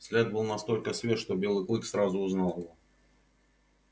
след был настолько свеж что белый клык сразу узнал его